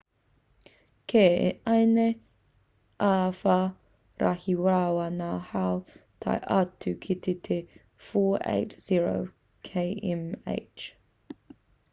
kei ēnei āwhā rahi rawa ngā hau tae atu ki te 480 km/h 133 m/s; 300m/h